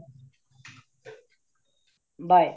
bye